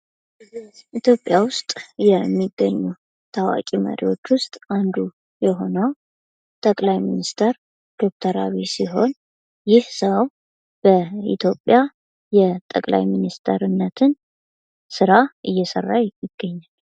ኢትዮጵያ ውስጥ የሚገኙ ታዋቂ መሪዎች ውስጥ አንዱ የሆነው ጠቅላይ ሚኒስተር ዶክተር አብይ ሲሆን ይህ ሰው በኢትዮጵያ ጠቅላይ ሚኒስትርነትን ስራ እየሰራ ይገኛል።